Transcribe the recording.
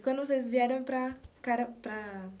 E quando vocês vieram para cara... Para...